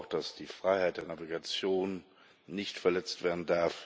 Auch darf die Freiheit der Navigation nicht verletzt werden.